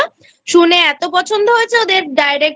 শুনে এত পছন্দহয়েছে ওদের Direct